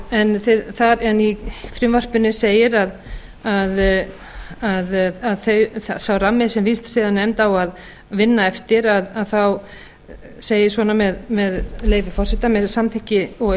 en í frumvarpinu segir að sá rammi sem vísindasiðanefnd á að vinna eftir að þá segir svona í frumvarpinu með leyfi forseta með samþykki vísindasiðanefndar